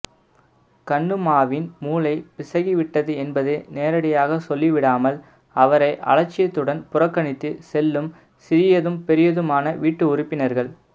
கண்ணும்மாவின் மூளை பிசகி விட்டது என்பதை நேரடியாக சொல்லிடாமல் அவரை அலட்சியத்துடன் புறக்கணித்து செல்லும் சிறியதும் பெரியதுமான வீட்டு உறுப்பினர்கள்